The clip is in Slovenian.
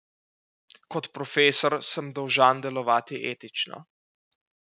Kot profesor sem dolžan delovati etično.